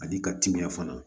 Ani ka timiya fana